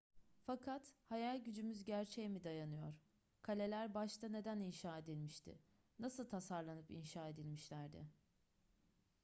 fakat hayal gücümüz gerçeğe mi dayanıyor kaleler başta neden inşa edilmişti nasıl tasarlanıp inşa edilmişlerdi